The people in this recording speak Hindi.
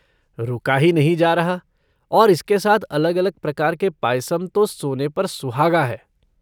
रुका ही नहीं जा रहा, और इसके साथ अलग अलग प्रकार के पायसम तो सोने पर सुहागा है।